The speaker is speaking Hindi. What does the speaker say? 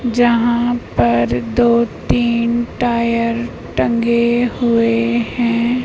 जहाँ पर दो तीन टायर टंगे हुए हैं।